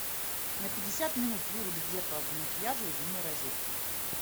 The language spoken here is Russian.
на пятьдесят минут вырубить зеркало для макияжа из умной розетки